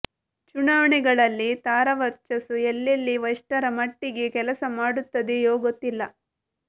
ಚುನಾವಣೆಗಳಲ್ಲಿ ತಾರಾ ವರ್ಚಸ್ಸು ಎಲ್ಲೆಲ್ಲಿ ಎಷ್ಟರ ಮಟ್ಟಿಗೆ ಕೆಲಸ ಮಾಡುತ್ತದೆಯೋ ಗೊತ್ತಿಲ್ಲ